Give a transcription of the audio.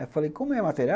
Eu falei, como é a matéria?